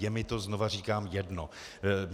Je mi to - znova říkám - jedno.